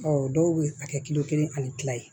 Ɔ dɔw bɛ a kɛ kilo kelen ani tila ye